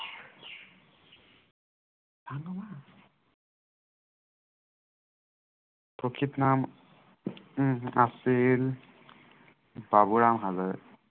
প্ৰকৃত নাম উম আছিল বাবুৰাম হালৈ